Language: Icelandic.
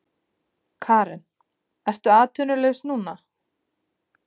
Karen: Ertu atvinnulaus núna?